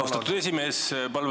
Austatud esimees!